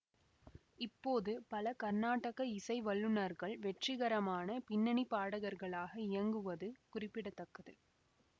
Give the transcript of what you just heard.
இப்போது பல கர்நாடக இசை வல்லுநர்கள் வெற்றிகரமான பின்னணி பாடகர்களாக இயங்குவது குறிப்பிட தக்கது